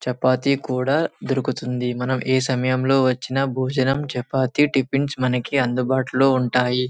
చపాతీ కూడా మనకి దొరుకుతుంది మనం ఏ సమయం లో వచ్చిన భోజనం చపాతీ టిఫిన్ అందుబాటులో ఉంటాయి.